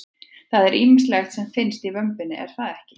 Það er ýmislegt sem að finnst í vömbinni er það ekki?